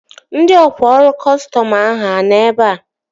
Ndị ọkwá ọrụ kọstọm ahụ a nọ ebea?